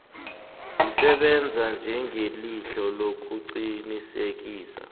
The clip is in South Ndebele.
zisebenza njengelihlo lokuqinisekisa